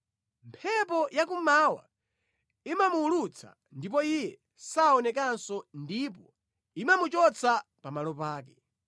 Mphepo ya kummawa imamuwulutsa ndipo iye saonekanso ndipo imamuchotsa pamalo pake.